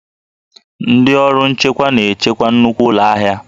Ndị ọrụ nchekwa na-echekwa nnukwu ụlọ ahịa